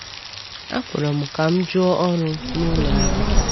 A kpọrọ m ka m jụọ ọrụ n’ụlọ agha.